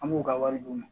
An b'u ka wari d'u ma